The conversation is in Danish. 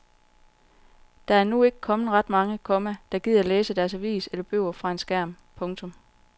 Der endnu ikke ret mange, komma der gider læse deres avis eller bøger fra en skærm. punktum